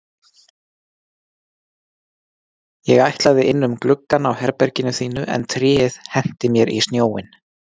Ég ætlaði inn um gluggann á herberginu þínu en tréð henti mér í snjóinn